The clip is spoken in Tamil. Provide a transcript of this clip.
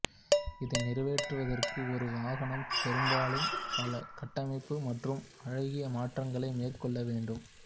இதை நிறைவேற்றுவதற்கு ஒரு வாகனம் பெரும்பாலும் பல கட்டமைப்பு மற்றும் அழகியல் மாற்றங்களை மேற்கொள்ள வேண்டும்